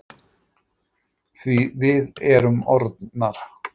Því við erum orðnar.